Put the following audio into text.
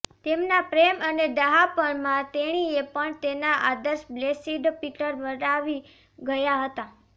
તેમના પ્રેમ અને ડહાપણ માં તેણીએ પણ તેના આદર્શ બ્લેસિડ પીટર વટાવી ગયા હતા